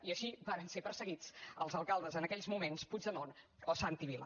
i així varen ser perseguits els alcaldes en aquells moments puigdemont o santi vila